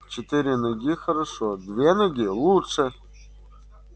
четыре ноги хорошо две ноги лучше